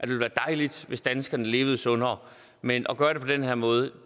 ville være dejligt hvis danskerne levede sundere men at gøre det på den her måde